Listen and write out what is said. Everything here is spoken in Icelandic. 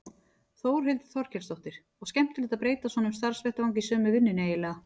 Þórhildur Þorkelsdóttir: Og skemmtilegt að breyta svona um starfsvettvang í sömu vinnunni eiginlega?